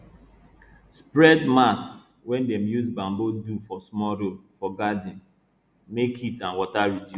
spread mat wey dem use bamboo do for small road for garden make heat and water reduce